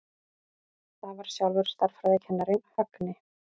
Það var sjálfur stærðfræðikennarinn, Högni.